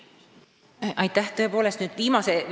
Aitäh!